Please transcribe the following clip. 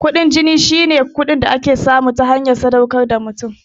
Kuɗin jini shine kuɗin da ake samu ta hanyar sadaukar da wani mutum.